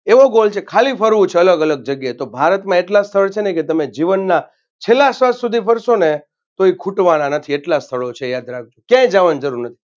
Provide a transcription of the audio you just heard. એવો Goal છે ખાલી ફરવું છે અલગ અલગ જગ્યાએ તો ભારતમાં એટલા સ્થળ છેને કે તમે જીવનના છેલ્લા શ્વાસ સુધી ફરશોને તોય ખૂટવાના નથી એટલા સ્થળો છે યાદ રાખજો ક્યાંય જાવાની જરૂર નથી.